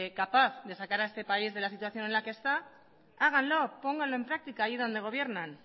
capaz de sacar a este país de la situación de la que esta háganlo pónganlo en práctica ahí donde gobiernan